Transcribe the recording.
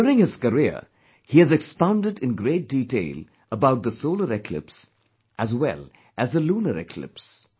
During his career, he has expounded in great detail about the solar eclipse, as well as the lunar eclipse